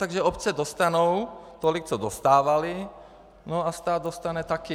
Takže obce dostanou tolik, co dostávaly, no a stát dostane taky.